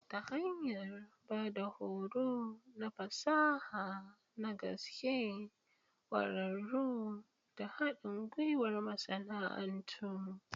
Ta hanyar ba da horo na fasaha na gaske, ƙwararru, da haɗin gwiwar masana'antu.